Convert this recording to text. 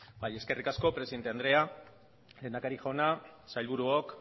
bai eskerrik asko presidente andrea lehendakari jauna sailburuok